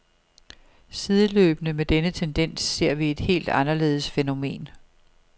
Sideløbende med denne tendens ser vi et helt anderledes fænomen.